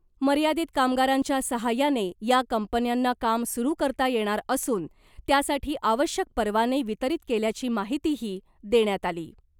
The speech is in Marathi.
मर्यादित कामगारांच्या सहाय्याने या कंपन्यांना काम सुरू करता येणार असून , त्यासाठी आवश्यक परवाने वितरित केल्याची माहितीही देण्यात आली .